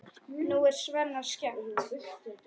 Nú er Svenna skemmt.